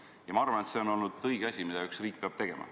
Ja ma arvan, et see on olnud õige asi, seda üks riik peabki tegema.